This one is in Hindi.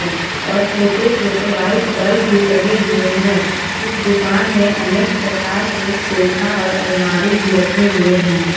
और छोटे छोटे व्हाइट बल्ब भी लगे हुए हैं इस दुकान में अनेक प्रकार के सोफा और अलमारी भी रखे हुए हैं।